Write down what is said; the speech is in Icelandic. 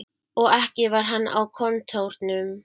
Og ekki var hann á kontórnum.